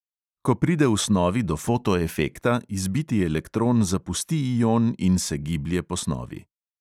Ko pride v snovi do fotoefekta, izbiti elektron zapusti ion in se giblje po snovi.